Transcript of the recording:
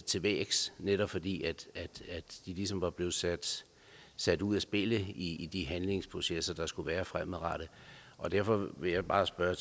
til vægs netop fordi de ligesom var blevet sat sat ud af spillet i de handlingsprocesser der skulle være fremadrettet derfor vil jeg bare spørge